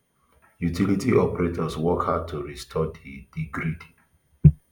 utility operators work hard to restore di di grid